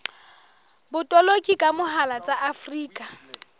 botoloki ka mohala tsa afrika